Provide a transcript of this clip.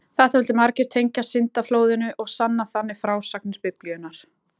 Þetta vildu margir tengja syndaflóðinu og sanna þannig frásagnir Biblíunnar.